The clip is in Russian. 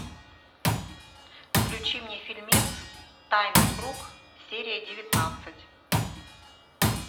включи мне фильмец тайный круг серия девятнадцать